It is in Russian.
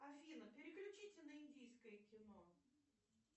афина переключите на индийское кино